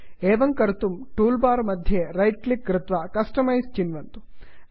एवं कर्तुं tool bar मध्ये रैट् क्लिक् कृत्वा कस्टमाइज़ कस्टमैस् चिन्वन्तु